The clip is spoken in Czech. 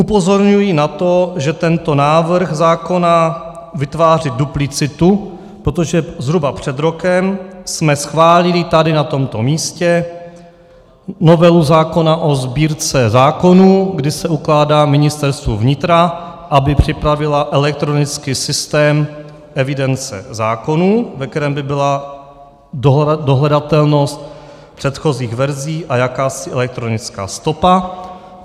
Upozorňuji na to, že tento návrh zákona vytváří duplicitu, protože zhruba před rokem jsme schválili tady na tomto místě novelu zákona o Sbírce zákonů, kdy se ukládá Ministerstvu vnitra, aby připravilo elektronický systém evidence zákonů, ve kterém by byla dohledatelnost předchozích verzí a jakási elektronická stopa.